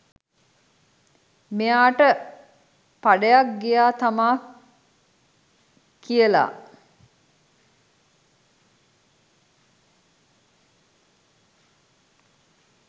මෙයාට පඩයක් ගියා තමා කියලා